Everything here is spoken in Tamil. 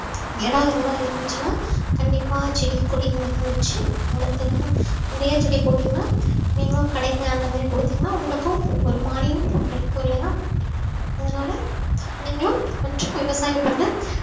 இடம் எதுனா இருந்துச்சுன்னா கண்டிப்பா செடி கொடி எதுனா வச்சு வளர்த்து நிறைய செடி போட்டீங்கன்னா நீங்களும் கடைக்கு அந்த மாதிரி கொடுத்தீங்கன்னா உங்களுக்கும் ஒரு மானியம் கிடைக்கும் இல்லையா அதனால நீங்களும் கொஞ்சம் விவசாயம் பண்ண